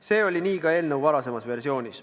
See oli nii ka eelnõu varasemas versioonis.